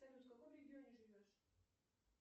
салют в каком регионе живешь